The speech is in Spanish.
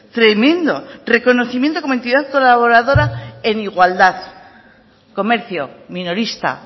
tremendo reconocimiento como entidad colaboradora en igualdad comercio minorista